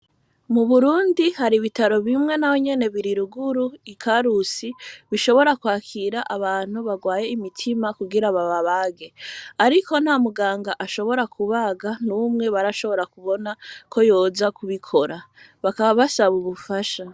Mu burundi hari ibitaro bimwe na we nyene biri ruguru i karusi bishobora kwakira abantu barwaye imitima kugira bababage, ariko nta muganga ashobora kubaga n'umwe barashobora kubona ko yoja kubikora bakaba bashabubufasha.